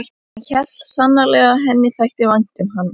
Hann hélt sannarlega að henni þætti vænt um hann.